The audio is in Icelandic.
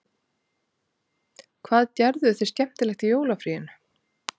Hvað gerðuð þið skemmtilegt í jólafríinu?